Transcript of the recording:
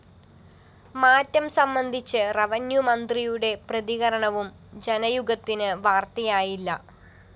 മാറ്റം സംബന്ധിച്ച് റവന്യൂമന്ത്രിയുടെ പ്രതികരണവും ജനയുഗത്തിന് വാര്‍ത്തയായില്ല